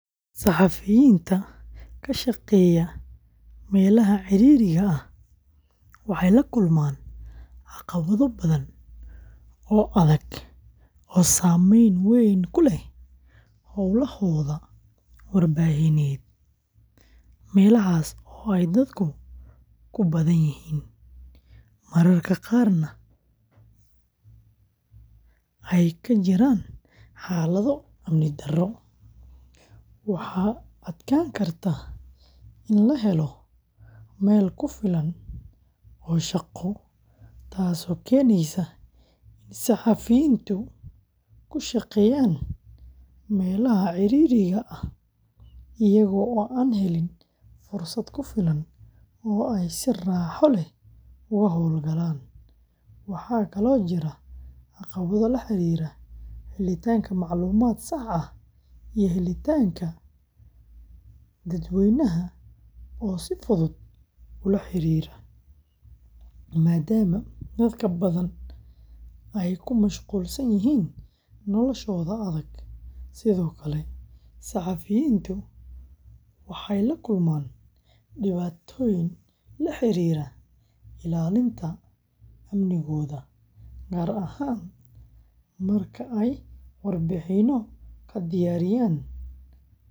Saxafiyiinta ka shaqeeya meelaha ciriiriga ah waxay la kulmaan caqabado badan oo adag oo saameyn weyn ku leh howlahooda warbaahineed. Meelahaas oo ay dadku ku badan yihiin, mararka qaarna ay ka jiraan xaalado amni darro, waxaa adkaan karta in la helo meel ku filan oo shaqo, taasoo keenaysa in saxafiyiintu ku shaqeeyaan meelaha cidhiidhiga ah iyaga oo aan helin fursad ku filan oo ay si raaxo leh uga hawlgalaan. Waxaa kaloo jira caqabado la xiriira helitaanka macluumaad sax ah iyo helitaanka dadweynaha oo si fudud ula xiriira, maadaama dad badan ay ku mashquulsan yihiin noloshooda adag. Sidoo kale, saxafiyiintu waxay la kulmaan dhibaatooyin la xiriira ilaalinta amnigooda, gaar ahaan marka ay warbixinno ka diyaarinayaan arrimo xasaasi ah.